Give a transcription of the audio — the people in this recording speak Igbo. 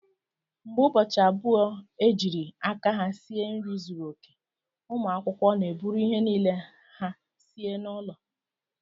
Mgbe ụbọchị abụọ ejiri aka ha sie nri zuru oke, ụmụ akwụkwọ na-eburu ihe niile ha sie n'ụlọ